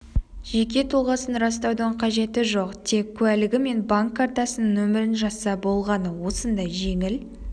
жеке тұлғасын растаудың қажеті жоқ тек куәлігі мен банк картасының нөмірін жазса болғаны осындай жеңіл